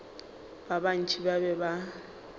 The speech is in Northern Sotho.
ba bantši ba be ba